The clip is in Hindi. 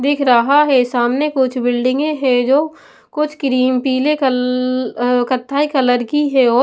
दिख रहा है सामने कुछ बिल्डिंगें हैं जो कुछ क्रीम पीले कल्ल अं कत्थाई कलर की है और--